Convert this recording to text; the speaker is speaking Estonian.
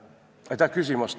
Aitäh küsimuse eest!